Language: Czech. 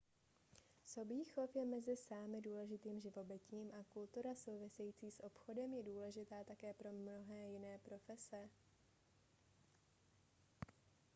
sobí chov je mezi sámy důležitým živobytím a kultura související s obchodem je důležitá také pro mnohé jiné profese